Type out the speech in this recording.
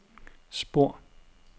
spor